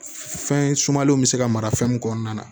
Fɛn sumalenw bɛ se ka mara fɛn min kɔnɔna na